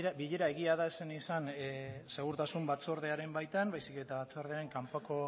bilera egia da ez zen izan segurtasun batzordearen baitan baizik eta batzordearen kanpoko